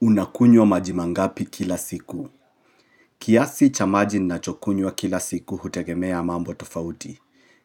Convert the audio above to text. Unakunywa maji mangapi kila siku. Kiasi cha maji ninachokunywa kila siku hutegemea mambo tofauti.